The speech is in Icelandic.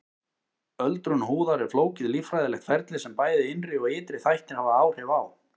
Öldrun húðar er flókið líffræðilegt ferli sem bæði innri og ytri þættir hafa áhrif á.